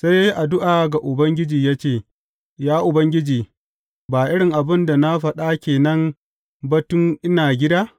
Sai ya yi addu’a ga Ubangiji ya ce, Ya Ubangiji, ba irin abin da na faɗa ke nan ba tun ina gida?